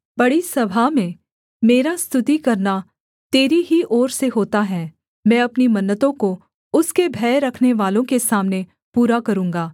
बड़ी सभा में मेरा स्तुति करना तेरी ही ओर से होता है मैं अपनी मन्नतों को उसके भय रखनेवालों के सामने पूरा करूँगा